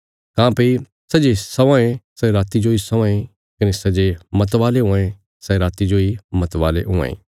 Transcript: काँह्भई सै जे सौआयें सै राति जोई सौआयें कने सै जे मतवाले हुआं ये सै राति जोई मतवाले हुआं ये